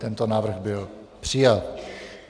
Tento návrh byl přijat.